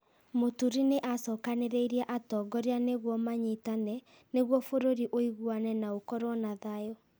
Mũturi nĩ acokanĩrĩirie atongoria nĩguo manyitane, nĩguo bũrũri ũiguane na ũkorũo na thayũ.